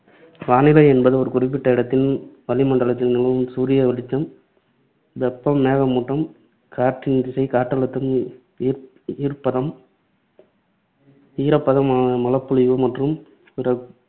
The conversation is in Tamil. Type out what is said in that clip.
வானிலை என்பது ஒரு குறிப்பிட்ட இடத்தின் வளிமண்டலத்தில் நிலவும் சூரிய வெளிச்சம், வெப்பம், மேகமூட்டம், காற்றின் திசை, காற்றழுத்தம், ஈர்~ ஈரப்பதம், ஈரப்பதம், மழைப்பொழிவு மற்றும் பிற